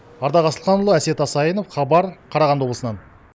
ардақ асылханұлы әсет асайынов хабар қарағанды облысынан